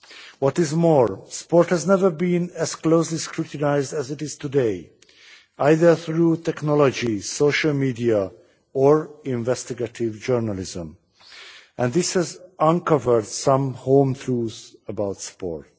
What is more, sport has never been as closely scrutinised as it is today, either through technology, social media or investigative journalism, and this has uncovered some home truths about sport.